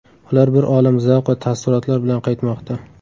Ular bir olam zavq va taassurotlar bilan qaytmoqda.